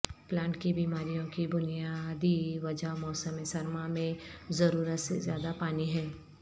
plant کی بیماریوں کی بنیادی وجہ موسم سرما میں ضرورت سے زیادہ پانی ہے